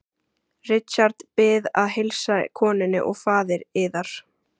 Richard Bið að heilsa konunni og faðir yðar.